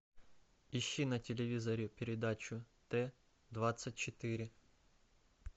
ищи на телевизоре передачу т двадцать четыре